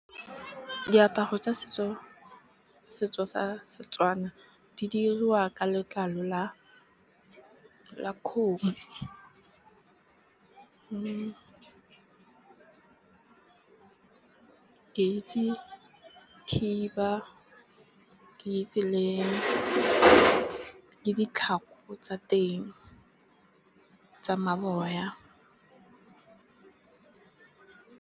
Diaparo tsa setso. Setso sa Setswana di diriwa ka letlalo la kgomo. Ke itse ke itse le ditlhako tsa teng ke tsa maboya.